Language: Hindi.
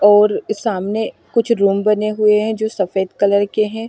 और सामने कुछ रूम बने हुए हैं जो सफेद कलर के हैं।